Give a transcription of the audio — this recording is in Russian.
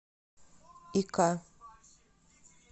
ика